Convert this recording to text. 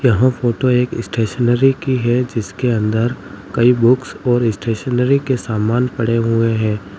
यह फोटो एक स्टेशनरी की है जिसके अंदर कई बुक्स और स्टेशनरी के सामान पड़े हुए हैं।